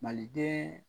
Maliden